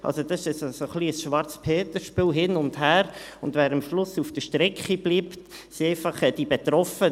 Das ist also ein bisschen ein Schwarzer-Peter-Spiel, hin und her, und diejenigen, die am Schluss auf der Strecke bleiben, sind einfach die Betroffenen.